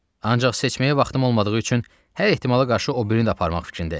Ancaq seçməyə vaxtım olmadığı üçün hər ehtimala qarşı o birini də aparmaq fikrindəyəm.